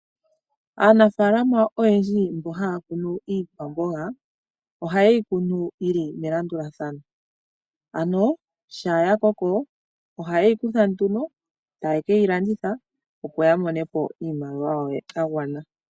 Aanafaalama oyendji mbono haya kunu iikwamboga ohayeyi kunu yili melandulathano ano shampa ya koko ohayeyi kutha nduno taye keyi landitha opo yamonepo iiyemo yagwana.